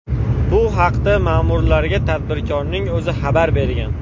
Bu haqda ma’murlarga tadbirkorning o‘zi xabar bergan.